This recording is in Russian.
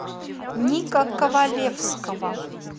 ника ковалевского